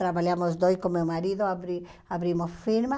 Trabalhamos dois com meu marido, abri abrimos firma.